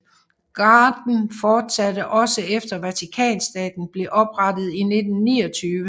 Garden fortsatte også efter Vatikanstaten blev oprettet i 1929